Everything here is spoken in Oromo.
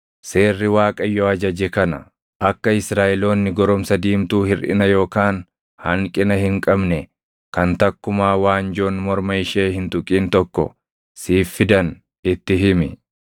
“Seerri Waaqayyo ajaje kana: Akka Israaʼeloonni goromsa diimtuu hirʼina yookaan hanqina hin qabne kan takkumaa waanjoon morma ishee hin tuqin tokko siif fidan itti himi.